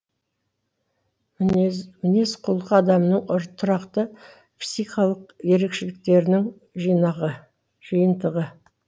мінез құлық адамның тұрақты психикалық ерекшеліктерінің жиынтығы